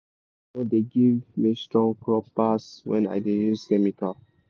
beta manure dey give me strong crop pass when i dey use chemical.